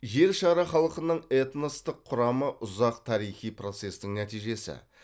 жер шары халқының этностық құрамы ұзақ тарихи процестің нәтижесі